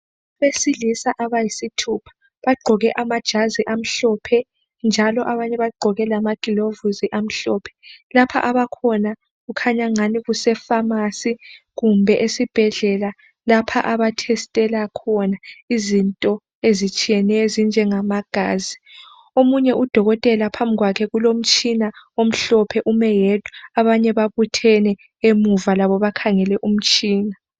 Abesilisa abayisithupha bagqoke amajazi amhlophe njalo abanye bagqoke lamagilovisi amhlophe. Lapha abakhona kukhanya ngani kuse Famasi kumbe esibhedlela lapha aba thestela khona izinto ezitsheyeneyo ezinjengama gazi. Omunye udokotela phambi kwakhe kulomtshina omhlophe ume yedwa, abanye babuthene emuva labo bakhangele umtshina.